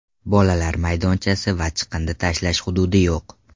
Bolalar maydonchasi va chiqindi tashlash hududi yo‘q.